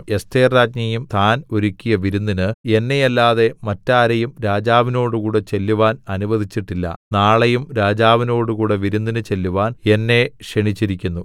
എസ്ഥേർരാജ്ഞിയും താൻ ഒരുക്കിയ വിരുന്നിന് എന്നെയല്ലാതെ മറ്റാരെയും രാജാവിനോടുകൂടെ ചെല്ലുവാൻ അനുവദിച്ചില്ല നാളെയും രാജാവിനോടുകൂടെ വിരുന്നിന് ചെല്ലുവാൻ എന്നെ ക്ഷണിച്ചിരിക്കുന്നു